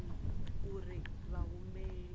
wa zwa dzinnu uri vhahumbeli